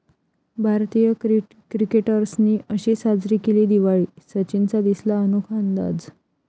भारतीय क्रिकेटर्सनी अशी साजरी केली दिवाळी, सचिनचा दिसला अनोखा अंदाज